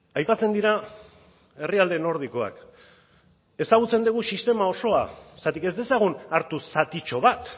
aipatzen dira herrialde nordikoak ezagutzen dugu sistema osoa zergatik ez dezagun hartu zatitxo bat